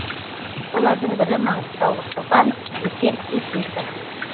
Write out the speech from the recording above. солардың бірі маңғыстаулық шопан есет өтесов